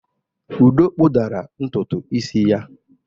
Udo kpudara ntutu isi ya.